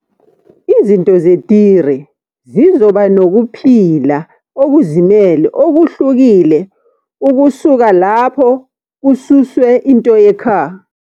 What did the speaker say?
Izinto zeTire zizoba nokuphila okuzimele okuhlukile ukusuka lapho kususwe into yeCar.